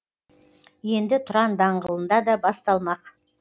енді тұран даңғылында да басталмақ